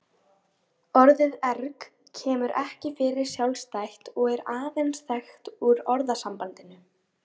Orðið erg kemur ekki fyrir sjálfstætt og er aðeins þekkt úr orðasambandinu.